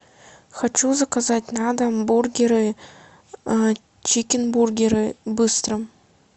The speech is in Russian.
хочу заказать на дом бургеры чикенбургеры в быстром